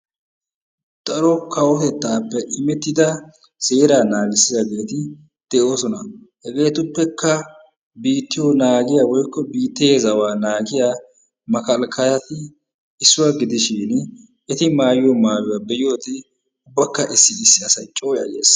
Daro kawotettaappe imetida seeraa naagissiyaageeti de'oosona. Hegeetuppekka biittiyo naagiya woykko biittee zawa naagiya makalkkayati issuwa gidishin eti maayiyo maayuwa be'iyoode okka issi issi asay coo yayyees.